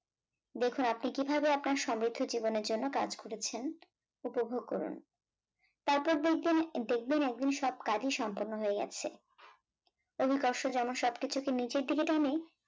দেখুন আপনি কিভাবে আপনার সমৃদ্ধ জীবনের জন্য কাজ করেছেন উপভোগ করুন। তারপর দেখবেন দেখবেন একদিন সব কাজই সম্পূর্ণ হয়ে গেছে। অভিকর্ষ যেমন সবকিছুকে নিচের দিকে টানে